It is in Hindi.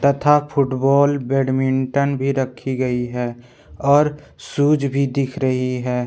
तथा फुटबॉल बैडमिंटन भी रखी गई है और शूज भी दिख रही है।